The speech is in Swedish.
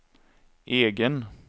egen